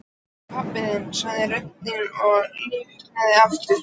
Hvað heitir pabbi þinn? sagði röddin og lifnaði aftur.